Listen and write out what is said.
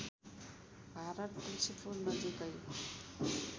भारत तुल्सीपुर नजिकै